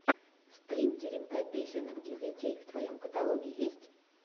стрим теремка песенок для детей в твоем каталоге есть